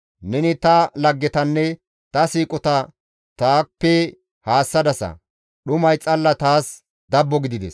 Neni ta laggetanne ta siiqota taappe haassadasa; dhumay xalla taas dabbo gidides.